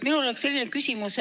Minul on selline küsimus.